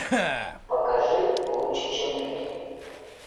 покажи лучше чем люди